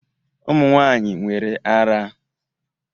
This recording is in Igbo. Ụmụ nwanyị nwere ara